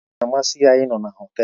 Ọ naghị amasị ya ịnọ na họtel.